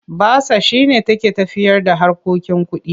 Basa shi ne take tafiyarda harkokin kuɗi.